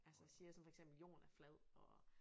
Altså siger sådan for eksempel jorden er flad og